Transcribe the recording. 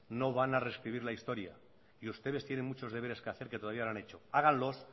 no van a reescribir la historia y ustedes tienen muchos deberes que hacer que todavía no han hecho háganlos